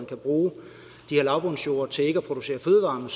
at bruge de her lavbundsjorde til at producere fødevarer